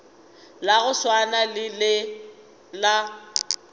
la go swana le la